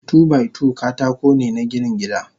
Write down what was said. Two by two katakone na ginin gida.